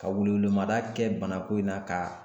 Ka welewelemada kɛ banako in na ka